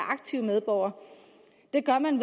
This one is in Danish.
aktive medborgere det gør man